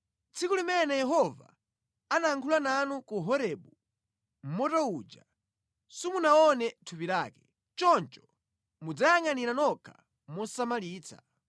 Tsiku limene Yehova anayankhula nanu ku Horebu mʼmoto uja, simunaone thupi lake. Choncho mudziyangʼanire nokha mosamalitsa,